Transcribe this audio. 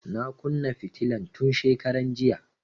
Na kunna fitilan tun shekaran jiya